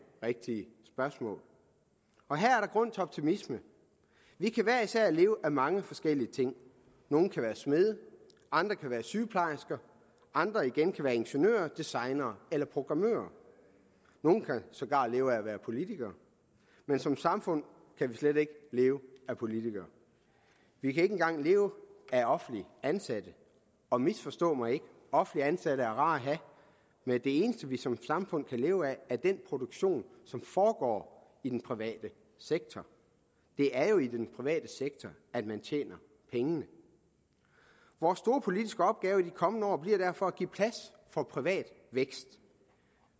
rigtige spørgsmål og her er der grund til optimisme vi kan hver især leve af mange forskellige ting nogle kan være smede andre kan være sygeplejersker og andre igen kan være ingeniører designere eller programmører nogle kan sågar leve af at være politikere men som samfund kan vi slet ikke leve af politikere vi kan ikke engang leve af offentligt ansatte og misforstå mig ikke offentligt ansatte er rare at have men det eneste vi som samfund kan leve af er den produktion som foregår i den private sektor det er jo i den private sektor at man tjener pengene vores store politiske opgave i de kommende år bliver derfor at give plads for privat vækst